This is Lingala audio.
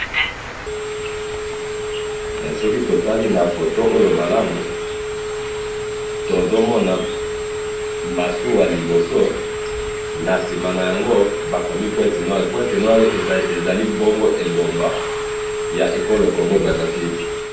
soki totali na photo oyo malamu, tozomona masuwa liboso, na sima na yango bakomi pointe noir, point noir ezali bongo engomba ya ekolo Congo Brazza Ville